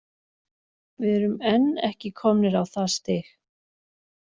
Við erum enn ekki komnir á það stig.